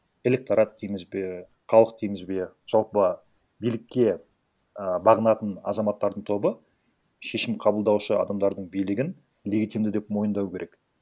электорат дейміз бе халық дейміз бе жалпы билікке і бағынатын азаматтардың тобы шешім қабылдаушы адамдардың билігін легитимді деп мойындауы керек